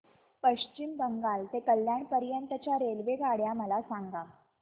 पश्चिम बंगाल ते कल्याण पर्यंत च्या रेल्वेगाड्या मला सांगा